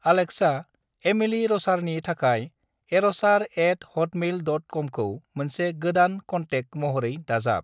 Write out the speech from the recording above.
Alexa, Emily र'सारनि थाखाय एर'सार एट हटमेइल डट कमखौ मोनसे गोदान कन्टेक्ट महरै दाजाब।